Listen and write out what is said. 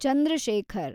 Chandra Shekhar